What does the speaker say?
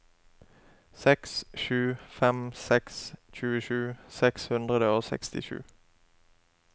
seks sju fem seks tjuesju seks hundre og sekstisju